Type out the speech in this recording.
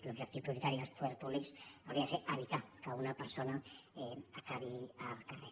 l’objectiu prioritari dels poders públics hauria de ser evitar que una persona acabi al carrer